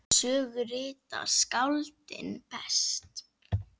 Sögu rita skáldin best.